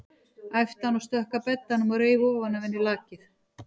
æpti hann og stökk að beddanum og reif ofan af henni lakið.